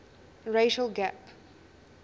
racial gap